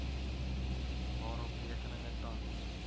waarop rekeninge tans